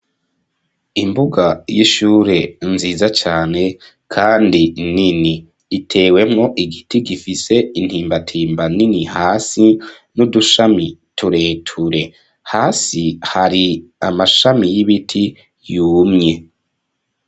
Imbuga y'ishure nziza cane kandi nini. Itewemwo igiti gifise intimbatimba nini hasi, n'udushami tureture. Hasi hari amashami y'ibiti yumye.